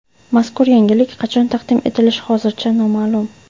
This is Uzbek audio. Mazkur yangilik qachon taqdim etilishi hozircha noma’lum.